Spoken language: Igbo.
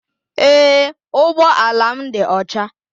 Ee ụgbọ ala m dị ọcha